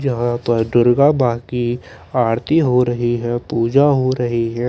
यहाँ पर दुर्गा माँ की आरती हो रही हैं पूजा हो रही हैं।